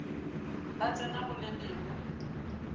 ba tsena go le lengwe